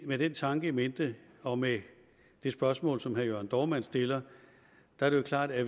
med den tanke in mente og med det spørgsmål som herre jørn dohrmann stiller er det jo klart at